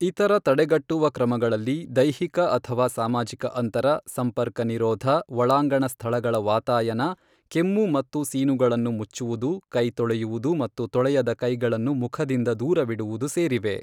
ಇತರ ತಡೆಗಟ್ಟುವ ಕ್ರಮಗಳಲ್ಲಿ ದೈಹಿಕ ಅಥವಾ ಸಾಮಾಜಿಕ ಅಂತರ, ಸಂಪರ್ಕನಿರೋಧ, ಒಳಾಂಗಣ ಸ್ಥಳಗಳ ವಾತಾಯನ, ಕೆಮ್ಮು ಮತ್ತು ಸೀನುಗಳನ್ನು ಮುಚ್ಚುವುದು, ಕೈ ತೊಳೆಯುವುದು ಮತ್ತು ತೊಳೆಯದ ಕೈಗಳನ್ನು ಮುಖದಿಂದ ದೂರವಿಡುವುದು ಸೇರಿವೆ.